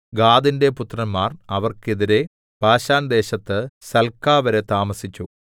ഗാദിന്റെ പുത്രന്മാർ അവർക്ക് എതിരെ ബാശാൻദേശത്ത് സൽകാവരെ താമസിച്ചു